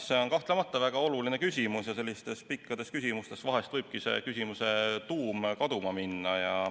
See on kahtlemata väga oluline küsimus ja selliste pikkade küsimuste korral võibki vahel küsimuse tuum kaduma minna.